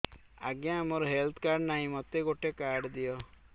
ଆଜ୍ଞା ମୋର health card ନାହିଁ ମୋତେ ଗୋଟେ କାର୍ଡ ଦିଅ